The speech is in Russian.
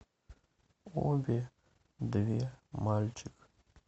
обе две мальчик